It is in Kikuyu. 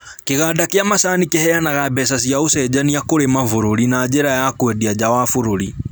Kĩganda gia macani kĩheanaga mbeca cia ũcenjania kũrĩ mabũrũri na njĩra ya kwendia nja wa bũrũri